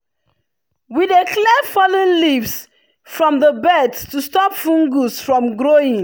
we dey clear fallen leaves from the beds to stop fungus from growing.